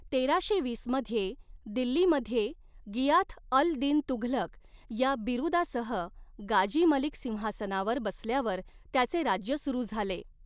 तेराशे वीस मध्ये दिल्लीमध्ये गियाथ अल दीन तुघलक या बिरुदासह गाजी मलिक सिंहासनावर बसल्यावर त्याचे राज्य सुरू झाले.